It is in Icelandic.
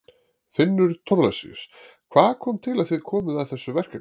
Finnur Thorlacius: Hvað kom til að þið komuð að þessu verkefni?